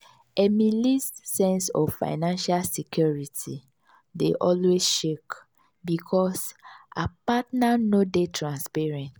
emily's sense of financial security dey always shake because her partner no dey transparent.